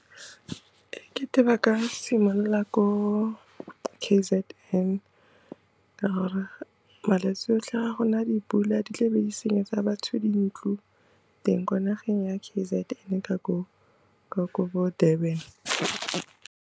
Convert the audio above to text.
E kete ba ka simolola ko K_Z_N ka gore malwetse otlhe ga go na dipula di tle be di senyetsa batho dintlo teng ko nageng ya K_Z_N ka ko, ka ko bo Durban.